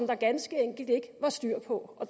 der ganske enkelt ikke var styr på